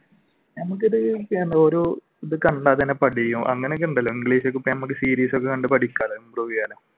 നമുക്കിത് ഓരോ അങ്ങനെയൊക്കെയുണ്ടല്ലോ series ഒക്കെ കണ്ടു പഠിക്കാലോ.